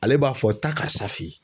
Ale b'a fɔ taa karisa fe yen.